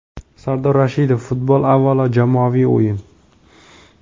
Sardor Rashidov: - Futbol avvalo jamoaviy o‘yin.